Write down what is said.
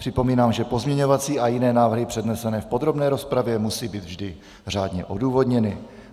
Připomínám, že pozměňovací a jiné návrhy přednesené v podrobné rozpravě musí být vždy řádně odůvodněny.